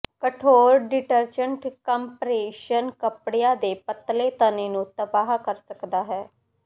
ਕਠੋਰ detergent compression ਕੱਪੜਿਆਂ ਦੇ ਪਤਲੇ ਤਣੇ ਨੂੰ ਤਬਾਹ ਕਰ ਸਕਦਾ ਹੈ